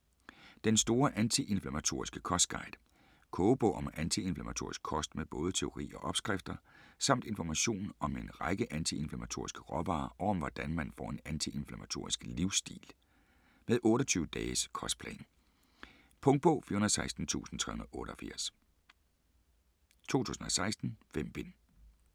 Den store antiinflammatoriske kostguide Kogebog om antiinflammatorisk kost med både teori og opskrifter; samt information om en række antiinflammatoriske råvarer og om hvordan man får en antiinflammatorisk livsstil. Med 28-dages kostplan. Punktbog 416388 2016. 5 bind.